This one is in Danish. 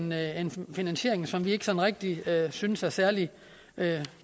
med en finansiering som vi ikke sådan rigtig synes er særlig